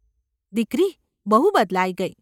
દીકરી ! બહુ બદલાઈ ગઈ.